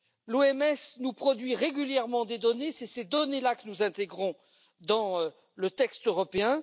L'OMS produit régulièrement des données, ce sont ces données que nous intégrons dans le texte européen.